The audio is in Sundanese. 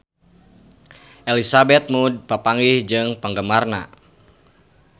Elizabeth Moody papanggih jeung penggemarna